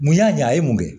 Mun y'a ɲɛ a ye mun de